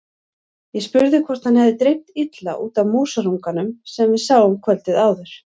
Ég spurði hvort hann hefði dreymt illa út af músarunganum sem við sáum kvöldið áður.